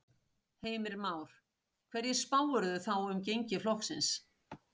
Heimir Már: Hverju spáirðu þá um gengi flokksins?